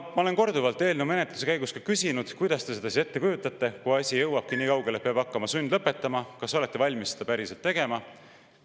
Ma olen korduvalt eelnõu menetlemise käigus ka küsinud, kuidas te seda ette kujutate, kui asi jõuabki nii kaugele, et peab hakkama sundlõpetama, kas te olete valmis seda päriselt tegema.